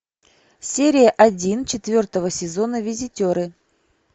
серия один четвертого сезона визитеры